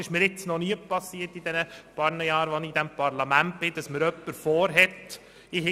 Es ist mir in diesem Parlament noch nie geschehen, dass mir jemand vorhält, zu wenig Streichung beantragt zu haben.